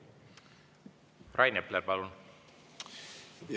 Rain Epler, palun!